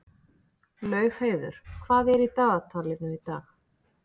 Laugheiður, hvað er í dagatalinu í dag?